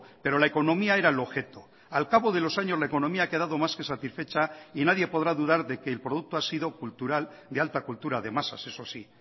pero la economía era el objeto al cabo de los años la economía ha quedado más que satisfecha y nadie podrá dudar de que el producto ha sido cultural de alta cultura de masas eso sí